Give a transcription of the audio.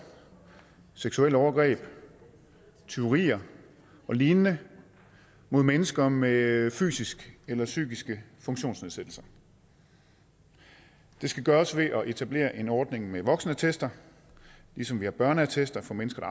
seksuelle overgreb tyverier og lignende mod mennesker med fysisk eller psykisk funktionsnedsættelse det skal gøres ved at etablere en ordning med voksenattester ligesom vi har børneattester for mennesker